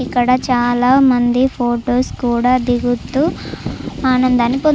ఇక్కడ చాలామంది ఫోటోస్ కూడా దిగుతూ ఆనందాన్ని పొందుతున్నారు.